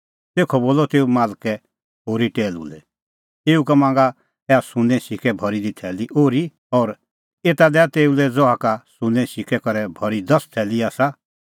तेखअ बोलअ तेऊ मालकै होरी टैहलू लै एऊ का मांगा ऐहा सुन्नें सिक्कै करै भरी दी थैली ओर्ही और एता दैआ तेऊ लै ज़हा का सुन्नें सिक्कै करै भरी दस थैली आसा